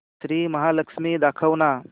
श्री महालक्ष्मी दाखव ना